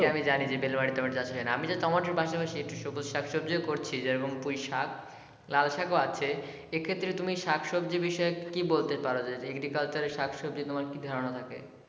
এটা আমি জানি যে বিড়লা মাটিতে টমেটো চাষ হয়না আমি তো টমেটোর পাশাপাশি শাকসবজি ও করছি যেমন পুঁই শাক, লাল শাক ও আছে এক্ষেত্রে তুমি শাকসবজি বিষয়ে কী বলতে পারো যে agriculture এ শাকসবজি তোমার কী ধারনা থাকে?